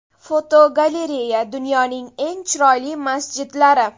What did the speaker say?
Fotogalereya: Dunyoning eng chiroyli masjidlari.